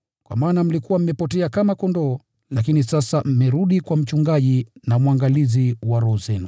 Kwa maana mlikuwa mmepotea kama kondoo, lakini sasa mmerudi kwa Mchungaji na Mwangalizi wa roho zenu.